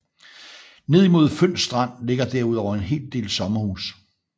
Ned imod Føns Strand ligger derudover en hel del sommerhuse